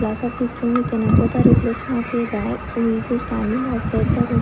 class of this room we can observe the reflection of a boy who is standing outside the room.